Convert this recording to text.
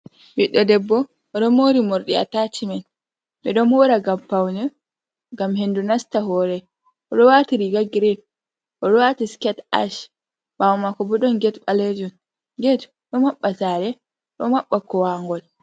Ɓiddo debbo oɗo mori mordi atachman ɓeɗo mhora ngam paune ngam hendu nasta hore, oɗo wati riga grin oɗe wati sket ash, bawo mako bo ɗum get balejum get ɗo maɓɓa sare, do mabba kowangol.